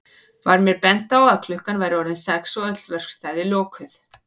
Var mér bent á að klukkan væri orðin sex og öll verkstæði lokuð.